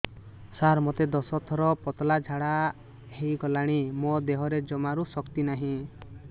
ସାର ମୋତେ ଦଶ ଥର ପତଳା ଝାଡା ହେଇଗଲାଣି ମୋ ଦେହରେ ଜମାରୁ ଶକ୍ତି ନାହିଁ